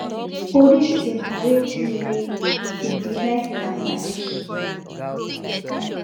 police bin parade timileyin wit di knife and machetes